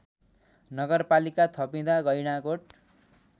नगरपालिका थपिँदा गैंडाकोट